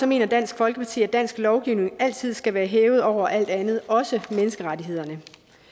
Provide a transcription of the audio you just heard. mener dansk folkeparti at dansk lovgivning altid skal være hævet over alt andet også menneskerettighederne